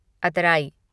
अतराई